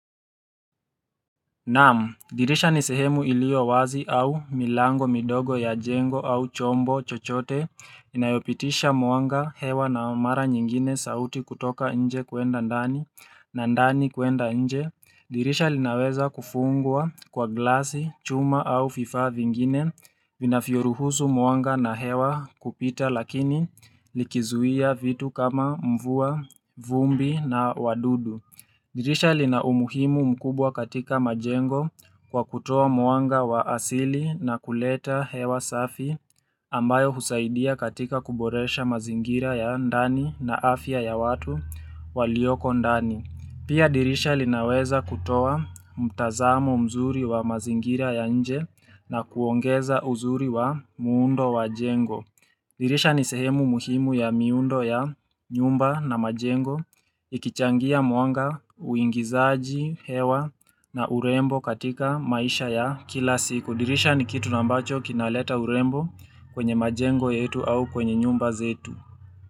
Naam, dirisha ni sehemu iliyowazi au milango midogo ya jengo au chombo chochote Inayopitisha mwanga hewa na mara nyingine sauti kutoka nje kuenda ndani na ndani kuenda nje dirisha linaweza kufungwa kwa glasi, chuma au fifa vingine Vinafioruhusu mwanga na hewa kupita lakini likizuia vitu kama mvua vumbi na wadudu dirisha lina umuhimu mkubwa katika majengo kwa kutoa mwanga wa asili na kuleta hewa safi ambayo husaidia katika kuboresha mazingira ya ndani na afya ya watu walioko ndani. Pia dirisha linaweza kutoa mtazamo mzuri wa mazingira ya nje na kuongeza uzuri wa muundo wa jengo. Dirisha ni sehemu muhimu ya miundo ya nyumba na majengo ya ikichangia mwanga uingizaji hewa na urembo katika maisha ya kila siku. Dirisha ni kitu na ambacho kinaleta urembo kwenye majengo yetu au kwenye nyumba zetu.